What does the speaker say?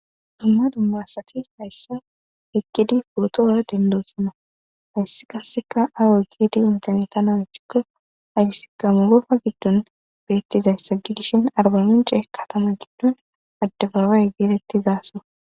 Dumma dummasati hayssa eqkidi purotoora dendoosana hayssi qasseka awo giidi interneta nawachikko ayssika mugofa giddon beettizayssagi dishin arbamicee katama giddon addebabay geerettizaso